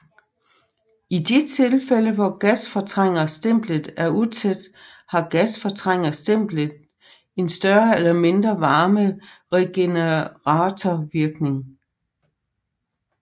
I de tilfælde hvor gasfortrængerstemplet er utæt har gasfortrængerstemplet en større eller mindre varmeregeneratorvirkning